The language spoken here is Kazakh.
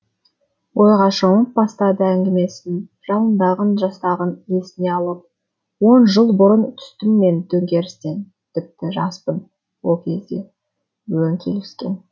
ойға шомып бастады әңгімесін жалындаған жастығын есіне алып он жыл бұрын түстім мен төңкерістен тіпті жаспын ол кезде өң келіскен